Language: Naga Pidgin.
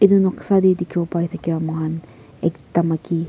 etu noksa teh dikhibo pare thake moikhan ekta maiki.